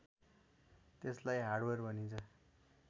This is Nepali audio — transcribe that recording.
त्यसलाई हार्डवेयर भनिन्छ